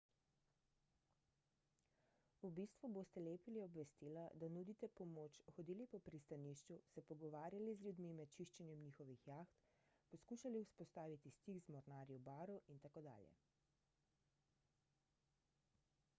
v bistvu boste lepili obvestila da nudite pomoč hodili po pristanišču se pogovarjali z ljudmi med čiščenjem njihovih jaht poskušali vzpostaviti stik z mornarji v baru itd